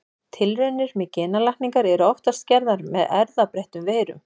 Tilraunir með genalækningar eru oftast gerðar með erfðabreyttum veirum.